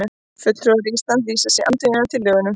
Fulltrúar Íslands lýsa sig andvíga tillögunum